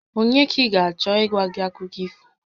Ònye ka ị ga-achọ ịgwa gị akụkọ ifo?